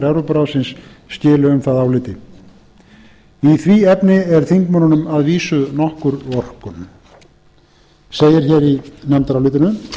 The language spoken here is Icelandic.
evrópuráðsins skili um það áliti í því efni er þingmönnunum að vísu nokkur vorkunn segir hér í nefndarálitinu